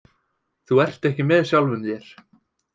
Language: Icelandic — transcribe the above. Þú ert ekki með sjálfum þér.